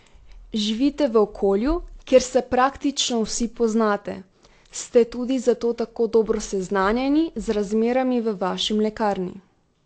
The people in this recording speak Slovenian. Živite v okolju, kjer se praktično vsi poznate, ste tudi zato tako dobro seznanjeni z razmerami v vaši mlekarni?